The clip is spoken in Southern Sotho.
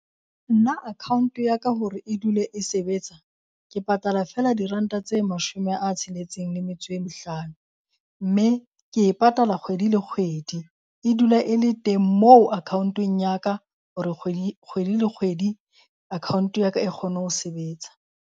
Nna account ya ka hore e dule e sebetsa, ke patala feela diranta tse mashome a tsheletseng le metso e mehlano. Mme ke e patala kgwedi le kgwedi. E dula e le teng moo account-eng ya ka hore kgwedi kgwedi le kgwedi account-e ya ka e kgone ho sebetsa.